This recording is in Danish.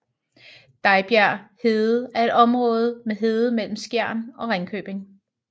Dejbjerg Hede er et område med hede mellem Skjern og Ringkøbing